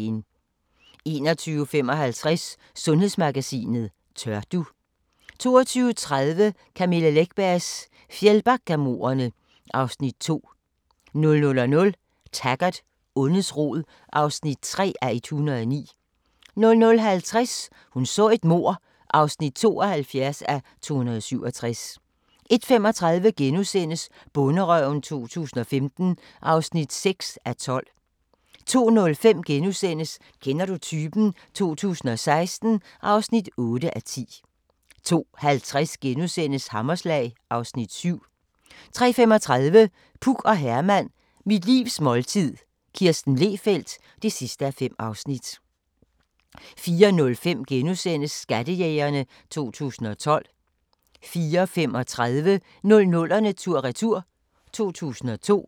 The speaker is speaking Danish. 21:55: Sundhedsmagasinet: Tør du? 22:30: Camilla Läckbergs Fjällbackamordene (Afs. 2) 00:00: Taggart: Ondets rod (3:109) 00:50: Hun så et mord (72:267) 01:35: Bonderøven 2015 (6:12)* 02:05: Kender du typen? 2016 (8:10)* 02:50: Hammerslag (Afs. 7)* 03:35: Puk og Herman – Mit livs måltid – Kirsten Lehfeldt (5:5) 04:05: Skattejægerne 2012 * 04:35: 00'erne tur-retur: 2002